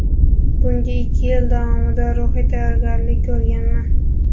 Bunga ikki yil davomida ruhiy tayyorgarlik ko‘rganman.